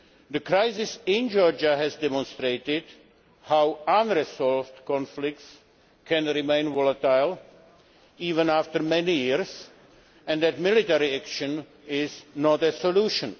The crisis in Georgia has demonstrated how unresolved conflicts can remain volatile even after many years, and that military action is not a solution.